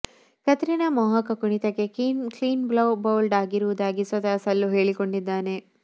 ಕತ್ರಿನಾ ಮೋಹಕ ಕುಣಿಿತಕ್ಕೆ ಕ್ಲೀನ್ ಬೌಲ್ಡಲ ಆಗಿರುವುದಾಗಿ ಸ್ವತಃ ಸಲ್ಲು ಹೇಳಿಕೊಂಡಿದ್ದಾನೆ